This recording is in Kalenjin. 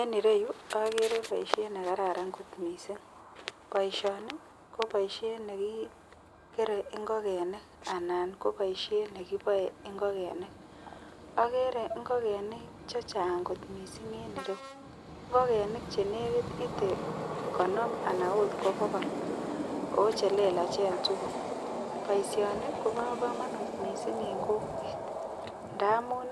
En ireyu agere baishet nekararan kot mising baishoni Koba kamanut ako baishet nekikere ingokenik anan ko baishet nekikere ingogenik agere ingogenik chechang kot mising en ireyu ngogenik chenekit ite konim ana okot ko bokol ako chelelachen tugul akoba kamanut baishoni mising en kokwet ntamun